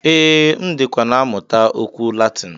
Ee, M dịkwa na-amụta okwu Latin.